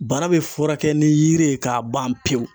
Bana be furakɛ ni yiri ye k'a ban pewu.